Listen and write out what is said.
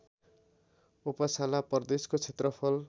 Uppsala प्रदेशको क्षेत्रफल